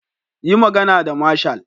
Yi magana da marshal.